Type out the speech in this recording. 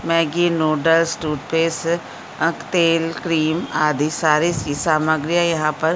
Maggi noodles toothpaste अक तेल cream आदि सारी सी सामग्रिया यहाँ पर --